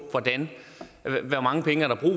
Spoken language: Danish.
hvor mange penge der er